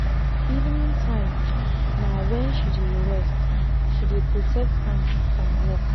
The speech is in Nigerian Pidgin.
evening time na wen she d rest she dey protect am from work.